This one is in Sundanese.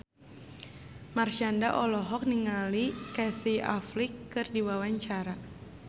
Marshanda olohok ningali Casey Affleck keur diwawancara